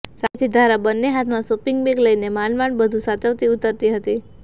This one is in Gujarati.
સામેથી ધારા બન્ને હાથમાં શોપિંગ બેગ લઇને માંડમાંડ બધુ સાચવતી ઉતરતી હતી